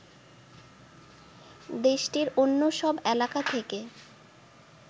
দেশটির অন্য সব এলাকা থেকে